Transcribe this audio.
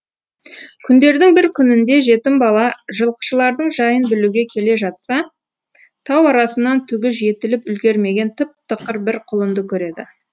күндердің бір күнінде жетім бала жылқышылардың жайын білуге келе жатса тау арасынан түгі жетіліп үлгермеген тып тықыр бір құлынды көреді